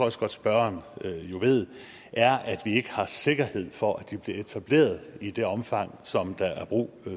også godt spørgeren ved er at vi ikke har sikkerhed for at det bliver etableret i det omfang som der er brug